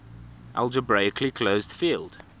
algebraically closed field